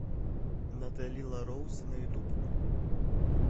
натали ла роуз на ютуб